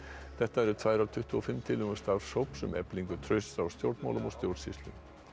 þetta eru tvær af tuttugu og fimm tillögum starfshóps um eflingu trausts á stjórnmálum og stjórnsýslu